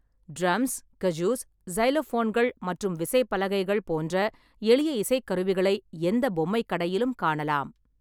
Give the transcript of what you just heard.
Drums, kazoos, சைலோஃபோன்கள் மற்றும் விசைப்பலகைகள் போன்ற எளிய இசைக்கருவிகளை எந்த பொம்மை கடையிலும் காணலாம்.